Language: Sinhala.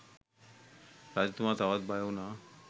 රජතුමා තවත් බයවුනා